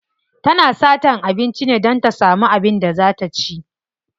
Tana satan abinci ne don ta samu abin da za ta ci.